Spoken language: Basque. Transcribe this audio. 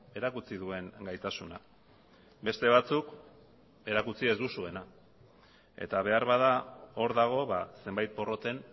erakutsi duen gaitasuna beste batzuk erakutsi ez duzuena eta beharbada hor dago zenbait porroten